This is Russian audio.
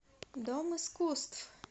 дом искусств